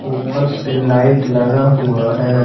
ऊपर से लाइट लगा हुआ है।